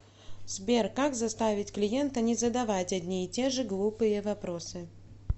сбер как заставить клиента не задавать одни и те же глупые вопросы